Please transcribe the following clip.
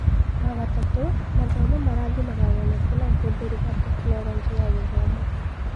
Wagatatũ, mathomo marathimaga wonekanu na ũhũthĩri wa Tekinoronjĩ ya Gĩthomo.